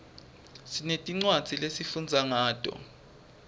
sinetincwadzi lesifundza ngato